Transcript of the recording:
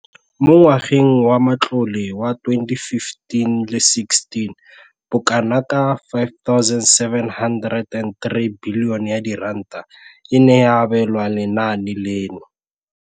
Mo ngwageng wa matlole wa 2015-16, bokanaka R5 703 bilione e ne ya abelwa lenaane leno.